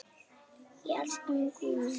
Elsku Ingvi minn.